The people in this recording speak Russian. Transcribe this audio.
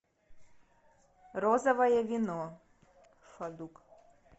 розовое вино фадук